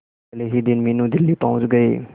अगले ही दिन मीनू दिल्ली पहुंच गए